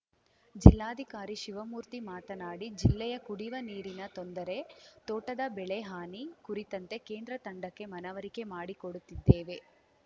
ಜಿಲ್ಲಾಧಿಕಾರಿ ಶಿವಮೂರ್ತಿ ಮಾತನಾಡಿ ಜಿಲ್ಲೆಯ ಕುಡಿವ ನೀರಿನ ತೊಂದರೆ ತೋಟದ ಬೆಳೆ ಹಾನಿ ಕುರಿತಂತೆ ಕೇಂದ್ರ ತಂಡಕ್ಕೆ ಮನವರಿಕೆ ಮಾಡಿಕೊಡುತ್ತಿದ್ದೇವೆ